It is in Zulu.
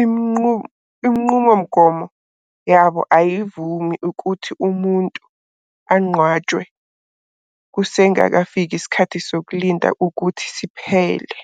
inqubomgomo yabo ayivumi ukuthi umuntu anqwatshwe kusengakafiki isikhathi sokulinda ukuthi siphele.